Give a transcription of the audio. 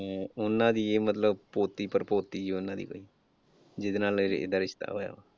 ਹਮ ਉਨ੍ਹਾਂ ਦੀ ਇਹ ਮਤਲਬ ਪੋਤੀ ਪੜਪੋਤੀ ਸੀ ਉਨ੍ਹਾਂ ਦੀ ਜਿਹਦੇ ਨਾਲ ਇਹਦਾ ਰਿਸ਼ਤਾ ਹੋਇਆ।